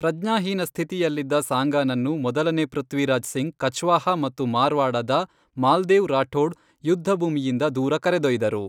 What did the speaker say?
ಪ್ರಜ್ಞಾಹೀನ ಸ್ಥಿತಿಯಲ್ಲಿದ್ದ ಸಾಂಗಾನನ್ನು ಮೊದಲನೇ ಪೃಥ್ವಿರಾಜ್ ಸಿಂಗ್ ಕಛ್ವಾಹಾ ಮತ್ತು ಮಾರ್ವಾಡದ ಮಾಲ್ದೇವ್ ರಾಠೋಡ್ ಯುದ್ಧಭೂಮಿಯಿಂದ ದೂರ ಕರೆದೊಯ್ದರು.